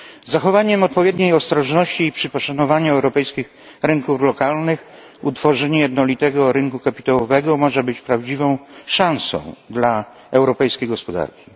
Zachowanie odpowiedniej ostrożności przy poszanowaniu europejskich rynków lokalnych, utworzenie jednolitego rynku kapitałowego może być prawdziwą szansą dla europejskiej gospodarki.